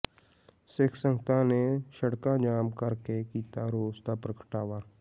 ਸਿੱਖ ਸੰਗਤਾਂ ਨੇ ਸੜਕਾਂ ਜਾਮ ਕਰਕੇ ਕੀਤਾ ਰੋਸ ਦਾ ਪ੍ਰਗਟਾਵਾ